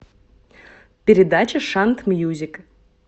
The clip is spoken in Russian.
передача шант мьюзик